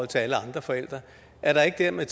til alle andre forældres er der ikke dermed